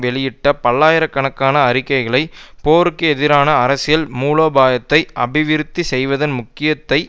வெளியிட்ட பல்லாயிர கணக்கான அறிக்கைகலை போருக்கு எதிரான அரசியல் மூலோபாயத்தை அபிவிருத்தி செய்வதன் முக்கியத்தை